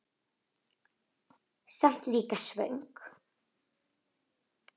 Samt líka svöng.